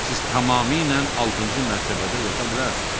Siz tamamilə altıncı mərtəbədə yata bilərsiniz.